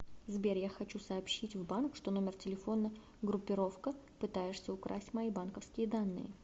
сбер я хочу сообщить в банк что номер телефона группировка пытаешься украсть мои банковские данные